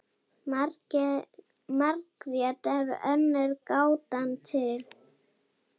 Margrét er önnur gátan til.